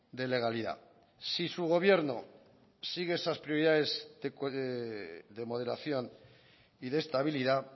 de legalidad si su gobierno sigue esas prioridades de moderación y de estabilidad